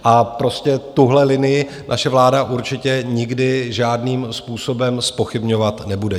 A prostě tuhle linii naše vláda určitě nikdy žádným způsobem zpochybňovat nebude.